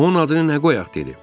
onun adını nə qoyaq, dedi.